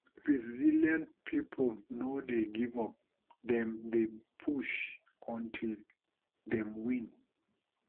resilient pipo no dey give up dem dey push until dem win